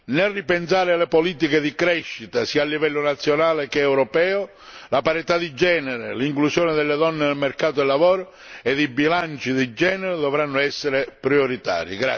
Nel ripensare alle politiche di crescita, sia a livello nazionale che europeo, la parità di genere, l'inclusione delle donne nel mercato del lavoro ed i bilanci di genere dovranno essere prioritari.